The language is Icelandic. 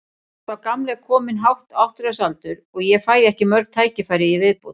Sá gamli er kominn hátt á áttræðisaldur og ég fæ ekki mörg tækifæri í viðbót.